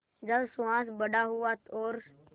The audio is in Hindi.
जब सुहास बड़ा हुआ और